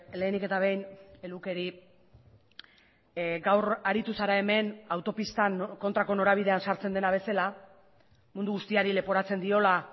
lehenik eta behin lukeri gaur aritu zara hemen autopistan kontrako norabidean sartzen dena bezala mundu guztiari leporatzen diola